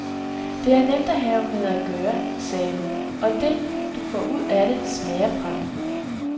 Det er nemt at have med at gøre, sagde hun, og det, du får ud af det, smager pragtfuldt.